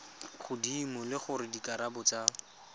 godimo le gore dikarabo tsa